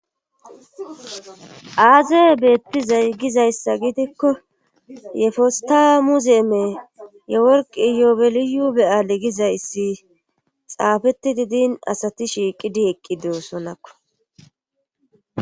Aazee beettizay gizayssa gidikko yefesta muzeeme yeworqi yoobeliyu beyaale gizayssi xaafeti didin asati shiiqidi eqqi doossonakko